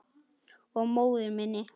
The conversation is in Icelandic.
Og móður minni.